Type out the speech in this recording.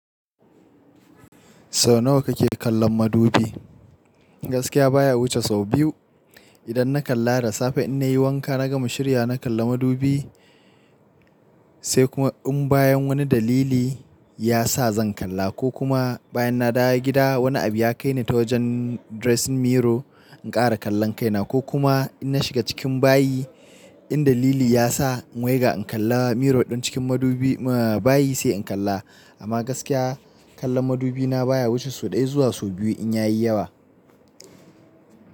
Sau nawa kake kallon madubi? Gaskiya baya wuce sau biyu. Idan na kalla da safe in na yi wanka na gama shiryawa na kalla madubi. Sai kuma in bayan wani dalili ya sa zan kalla ko kuma bayan na dawo gida wani abu ya kai ni ta wajen dressing mirror in ƙara kallon kaina ko kuma in na shiga cikin bayi in dalili ya sa in waiga in kalla mirror ɗin cikin madubi bayi sai in kalla. Amma gaskiya kallon madubi na baya wuce sau ɗaya zuwa sau biyu in ya yi yawa.